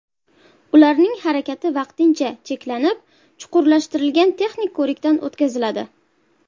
Ularning harakati vaqtincha cheklanib, chuqurlashtirilgan texnik ko‘rikdan o‘tkaziladi.